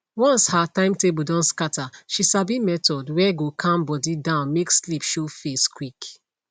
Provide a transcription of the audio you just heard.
once her timetable don scatter she sabi method were go calm body down make sleep show face quick